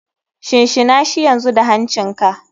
Shinshinashi yanzu da hancin ka.